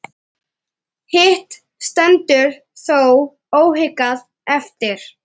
Hitt stendur þó óhikað eftir.